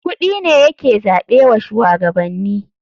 Kuɗi ne ya ke zaɓe wa shuwagabanni.